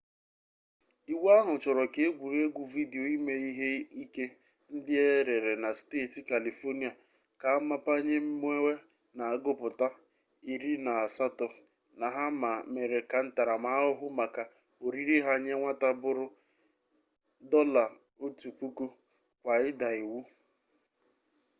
iwu ahụ chọrọ ka egwuregwu vidio ime ihe ike ndị e rere na steeti california ka a mapanye mmewe na-agụpụta 18 na ha ma mere ka ntaramahụhụ maka orire ha nye nwata bụrụ $1000 kwa ịda iwu